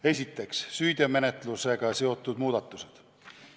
Esiteks, süüteomenetlusega seotud muudatused.